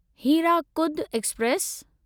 Hirakud express